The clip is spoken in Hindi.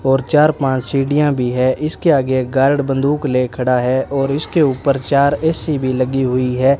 और चार पांच सीढ़ियां भी है इसके आगे एक गार्ड बंदूक ले खड़ा है और इसके ऊपर चार ए_सी भी लगी हुई है।